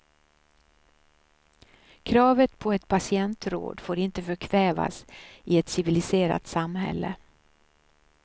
Kravet på ett patientråd får inte förkvävas i ett civiliserat samhälle.